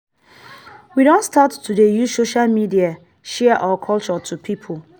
we don start to dey use social media share our culture to pipo.